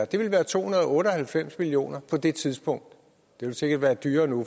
det ville være to hundrede og otte og halvfems million kroner på det tidspunkt det ville sikkert være dyrere nu